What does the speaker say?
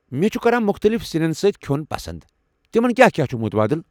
مےٚ چھِ کران مُختلِف سنٮ۪ن سۭتۍ کھیٚن پسنٛد، تمن کیٛاہ کیٛاہ مُتبٲدِل چھِ ؟